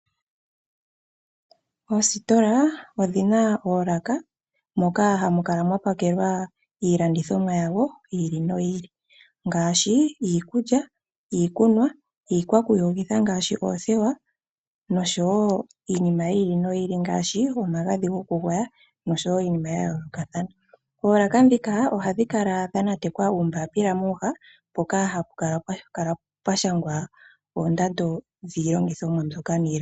Oositola odhi na oolaka moka hamu kala mwapakelwa iilandithomwa yawo yi ili noyi ili ngaashi iikunwa, iikulya, iikwakuyogitha ano oothewa nosho wo omagadhi gokugwaya. Moolaka ohamu kala mwanatekwa uumbapila mboka wa shangwa oondando dhiinima.